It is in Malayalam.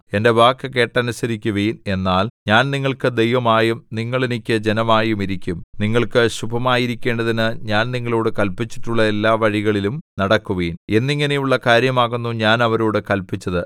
എന്റെ വാക്കു കേട്ടനുസരിക്കുവിൻ എന്നാൽ ഞാൻ നിങ്ങൾക്ക് ദൈവമായും നിങ്ങൾ എനിക്ക് ജനമായും ഇരിക്കും നിങ്ങൾക്ക് ശുഭമായിരിക്കേണ്ടതിന് ഞാൻ നിങ്ങളോടു കല്പിച്ചിട്ടുള്ള എല്ലാ വഴികളിലും നടക്കുവിൻ എന്നിങ്ങനെയുള്ള കാര്യമാകുന്നു ഞാൻ അവരോടു കല്പിച്ചത്